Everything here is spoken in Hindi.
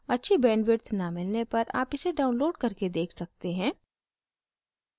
अच्छी bandwidth न मिलने पर आप इसे download करके देख सकते हैं